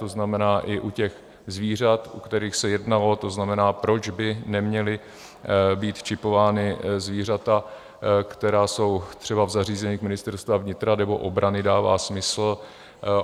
To znamená, i u těch zvířat, u kterých se jednalo, to znamená, proč by neměla být čipována zvířata, která jsou třeba v zařízeních Ministerstva vnitra nebo obrany, dává smysl.